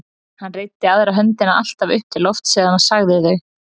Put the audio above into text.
Hann reiddi aðra höndina alltaf upp til lofts þegar hann sagði þau.